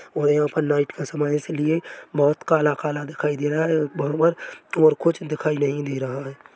और यहाँ पर नाइट का समय हैं इसलिए बहुत काला - काला दिखाई दे रहा हैं बरोबर और कुछ दिखाई नही दे रहा हैं।